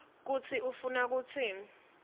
kutsi ufuna kutsini